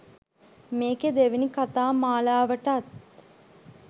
මේකේ දෙවෙනි කතා මාලාවටත්